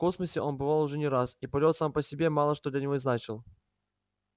в космосе он бывал уже не раз и полет сам по себе мало что для него значил